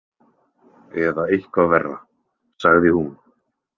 Eða eitthvað verra, sagði hún.